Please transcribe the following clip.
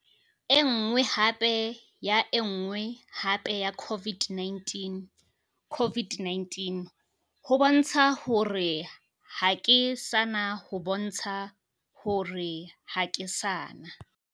Enngwe hape ya enngwe hape ya COVID-19. COVID-19 ho bontsha hore ha ke sana ho bontsha hore ha ke sana.